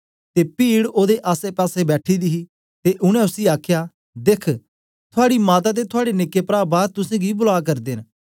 ते पीड ओदे आसेपासे बैठी दी ही ते उनै उसी आखया देख्ख थूआडी माता ते थुआड़े निक्के प्रा बार तुसेंगी बुला करदे न